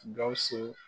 Gawusu